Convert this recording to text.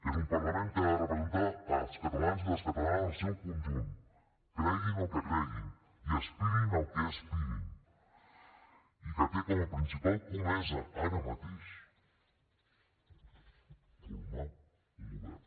és un parlament que ha de representar els catalans i les catalanes en el seu conjunt creguin el que creguin i aspirin al que aspirin i que té com a principal comesa ara mateix formar un govern